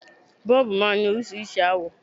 Bọ́ọ̀bù máa ń ní oríṣiríṣi àwọ̀